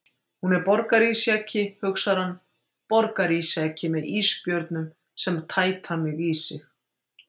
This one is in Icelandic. Hún er borgarísjaki, hugsar hann, borgarísjaki með ísbjörnum sem tæta mig í sig.